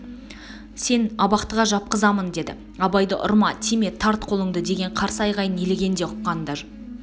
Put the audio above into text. сен абақтыға жапқызамын деді абайдың ұрма тиме тарт қолыңды деген қарсы айғайын елеген де ұққан да